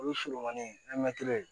O ye surumani mɛtiri ye